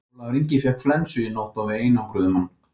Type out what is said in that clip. Ólafur Ingi fékk flensu í nótt og við einangruðum hann.